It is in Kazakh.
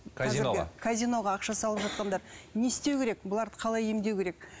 казиноға казиноға ақша салып жатқандар не істеу керек бұларды қалай емдеу керек